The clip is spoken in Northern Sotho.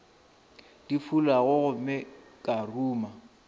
di fulago gomme ka ruma